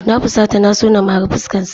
Na fusata na so na mari fuskarsa.